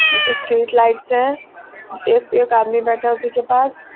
Street lights हैं एक आदमी बैठा है उसी के पास।